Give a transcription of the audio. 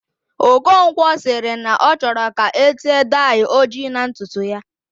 Okonkwo sịrị na ọ chọrọ ka ete dai ojii na ntutu ya